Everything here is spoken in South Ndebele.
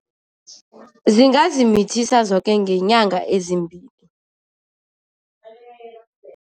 Zingazimithisa zoke ngenyanga ezimbili.